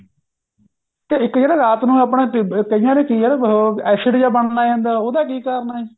ਤੇ ਇੱਕ ਜਿਹੜਾ ਰਾਤ ਨੂੰ ਆਪਾਂ ਕਈਆਂ ਦੇ ਕਿ ਐ ਉਹ acid ਜਾ ਬਣਦਾ ਉਹਦਾ ਕਿ ਕਰਨ ਐ